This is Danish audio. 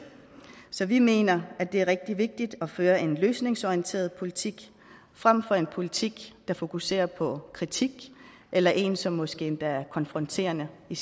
så vi mener at det er rigtig vigtigt at føre en løsningsorienteret politik frem for en politik der fokuserer på kritik eller en som måske endda er konfronterende i